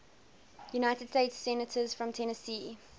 united states senators from tennessee